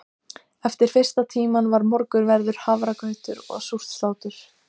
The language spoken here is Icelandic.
Eftir fyrsta tíma var morgunverður, hafragrautur og súrt slátur.